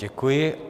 Děkuji.